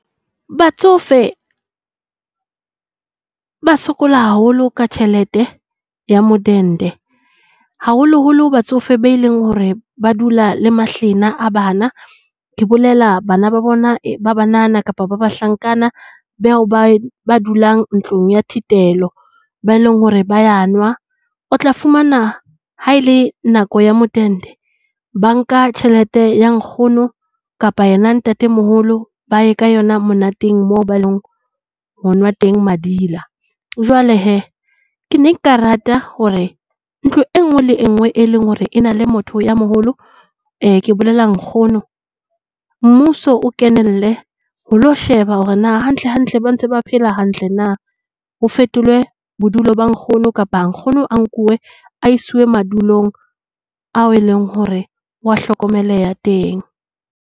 Batsofe ba sokola haholo ka tjhelete ya modende haholoholo batsofe ba e leng hore ba dula le mahlena a bana. Ke bolela bana ba bona ba banana kapa ba bahlankana bao ba dulang ntlong ya thitelo. Bao e leng hore ba nwa. O tla fumana haele nako ya modende, ba nka tjhelete ya nkgono kapa yona ya ntatemoholo, ba ya ka yona monateng moo ba ileng ho nwa teng madila. Jwale he, ke ne nka rata hore ntlo e nngwe le nngwe e leng hore e na le motho ya moholo, ke bolela nkgono. Mmuso o kenelle ho ilo sheba hore na hantlehantle ba ntse ba phela hantle na. Ho fetolwe bodulo ba nkgono kapa nkgono a nkuwe a siuwe madulong ao e leng hore o a hlokomeleha teng.